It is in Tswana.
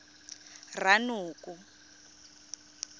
ranoko